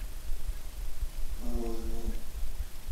мороженое